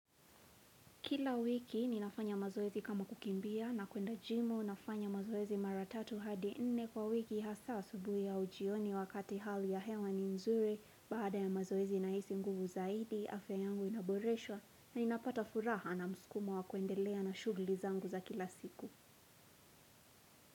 Kila wiki ni nafanya mazoezi kama kukimbia na kuenda jimu nafanya mazoezi maratatu hadi nne kwa wiki hasa asubuhi au jioni wakati hali ya hewa ni nzuri baada ya mazoezi nahisi nguvu zaidi, afya yangu inaboreshwa na inapata furaha na muskumo wa kuendelea na shughuli zangu za kila siku.